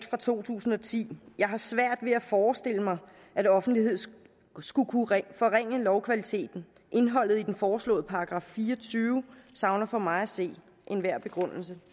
fra 2010 jeg har svært ved at forestille mig at offentlighed skulle kunne forringe lovkvaliteten indholdet i den foreslåede § fire og tyve savner for mig at se enhver begrundelse